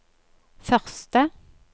første